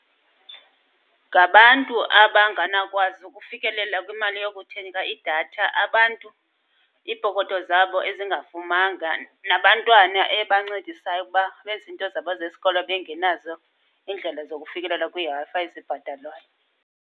Ngabantu abanganawukwazi ukufikelela kwimali yokuthenga idatha, abantu iipokoto zabo ezingafumanga, abantwana ebancedisayo ukuba benze iinto zabo zesikolo bengenazo iindlela zokufikelela kwiiWi-Fi ezibhatalwayo.